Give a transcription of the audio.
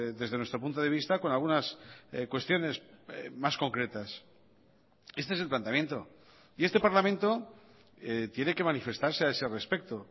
desde nuestro punto de vista con algunas cuestiones más concretas este es el planteamiento y este parlamento tiene que manifestarse a ese respecto